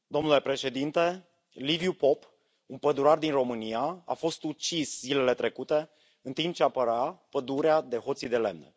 Domnule președinte, Liviu Pop, un pădurar din România, a fost ucis zilele trecute în timp ce apăra pădurea de hoții de lemn.